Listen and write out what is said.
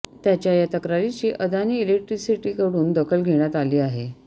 त्याच्या या तक्रारीची अदानी इलेक्ट्रिसिटीकडून दखल घेण्यात आली आहे